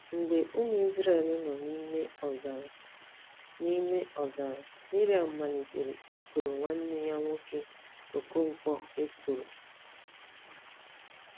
Mgbe ụmụ Izrel nọ n’ime ọzara, n’ime ọzara, Miriam malitere i kworo nwanne ya nwoke Okonkwo ekworo.